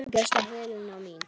Elsku besta Helena mín.